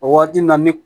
O waati na mi